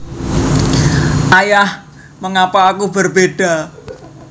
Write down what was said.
Ayah Mengapa Aku Berbeda